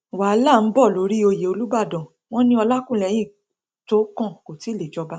wàhálà ń bọ lórí oyè olùbàdàn wọn ní olákúlẹhìn tó kàn kò tí ì lè jọba